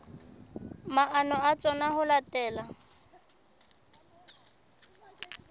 maano a tsona ho latela